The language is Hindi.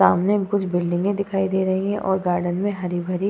सामने कुछ बिल्डिंगें दिखाई दे रही हैं और गार्डन में हरी भरी --